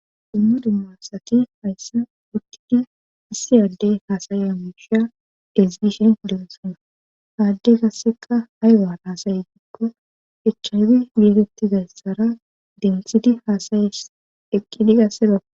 dummudi massaki hayssa wuttidi issi aaddey haasayeya mishia deziishen densona haadde gasseqa hay waar haasayi gikko echchaybi yeetetti gayssara demthidi haasaye eqqidi gasse bako